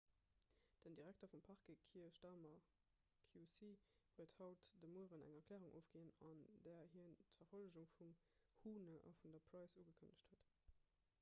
den direkter vum parquet kier starmer qc huet haut de mueren eng erklärung ofginn an där hien d'verfollegung vum huhne a vun der pryce ugekënnegt huet